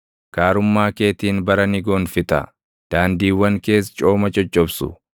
Gaarummaa keetiin bara ni gonfita; daandiiwwan kees cooma coccobsu.